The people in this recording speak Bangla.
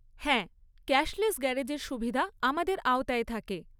হ্যাঁ ক্যাশলেস গ্যারেজের সুবিধা আমাদের আওতায় থাকে।